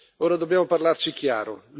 Ora dobbiamo parlarci chiaro.